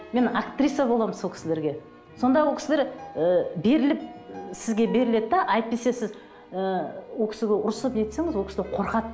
мен актриса боламын сол кісілерге сонда ол кісілер ы беріліп сізге беріледі де әйтпесе сіз ыыы ол кісіге ұрсып не етсеңіз ол кісілер қорқады